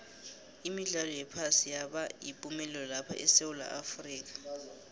imidlalo yephasi yaba yipumelelo lapha esewula afrika